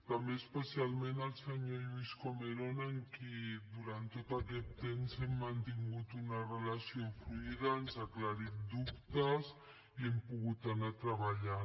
també especialment al senyor lluís comerón amb qui durant tot aquest temps hem mantingut una relació fluida ens ha aclarit dubtes i hem pogut anar treballant